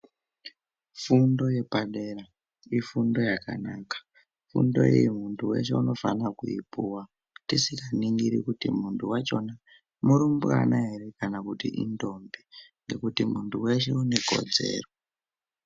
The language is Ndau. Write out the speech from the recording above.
Fundo yepadera ifundo yakanaka. Fundo iyi muntu weshe unofane kuipuwa. Tisinganigiri kuti muntu wachona murumbwana ere kana kuti intombi ngekuti muntu weshe unekodzero.